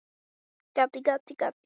Það er komið fram í kaldan desember.